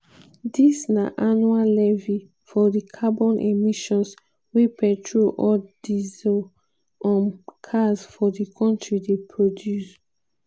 dis na annual levy for di carbon emissions wey petrol or diesel um cars for di kontri dey produce.